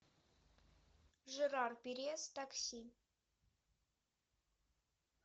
жерар пирес такси